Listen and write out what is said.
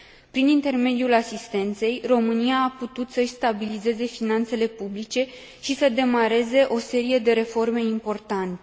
Prin intermediul asistenței, România a putut să și stabilizeze finanțele publice și să demareze o serie de reforme importante.